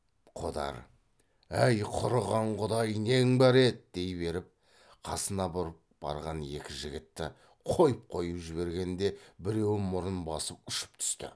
қодар әй құрыған құдай нең бар еді дей беріп қасына бұрып барған екі жігітті қойып қойып жібергенде біреуі мұрын басып ұшып түсті